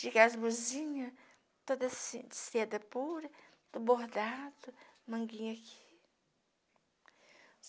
Chique, as blusinhas, todas assim seda pura, tudo bordado, manguinha aqui.